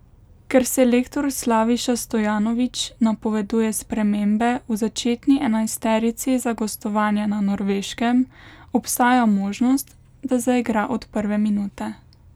Ker selektor Slaviša Stojanović napoveduje spremembe v začetni enajsterici za gostovanje na Norveškem, obstaja možnost, da zaigra od prve minute.